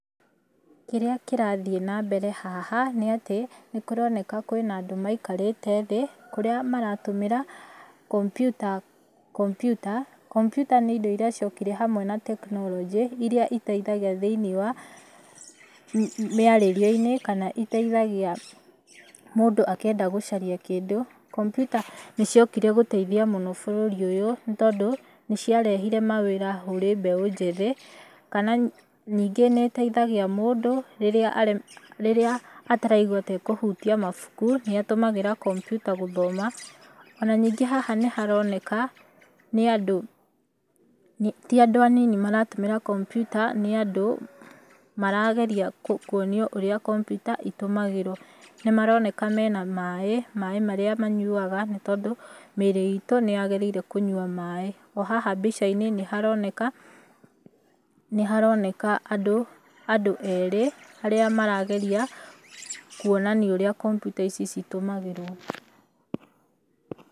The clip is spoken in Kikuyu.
Kĩrĩa kĩrathiĩ na mbere haha, nĩ atĩ, nĩ kũroneka kwĩna andũ maikarĩte thĩ, kũrĩa maratũmĩra kompiuta, kompiuta. Kompiuta nĩ indo irĩa ciokire hamwe na tekinoronjĩ, irĩa iteithagia thĩiniĩ wa mĩarĩrie-inĩ, kana iteithagia mũndũ akĩenda gũcaria kĩndũ. Kompiuta nĩ ciokire gũteithia mũno bũrũri ũyũ, nĩ tondũ, nĩ ciarehire mawĩra kũrĩ mbeũ njĩthĩ, kana ningĩ nĩ ĩteithagia mũndũ rĩrĩa rĩrĩa ataraigua ta ekũhutia mabuku, nĩ atũmagĩra kompiuta gũthoma. Ona ningĩ haha nĩ haroneka, nĩ andũ, ti andũ anini maratũmĩra kompiuta, nĩ andũ marageria kuonio ũrĩa kompiuta itũmagĩrwo. Nĩ maroneka mena maaĩ, maaĩ marĩa manyuaga, nĩ tondũ mĩĩrĩ itũ nĩ yagĩrĩire kũnyua maaĩ. O haha mbica-inĩ, nĩ haroneka, nĩ haroneka andũ andũ erĩ, arĩa marageria kuonania ũrĩa kompiuta ici citũmagĩrwo.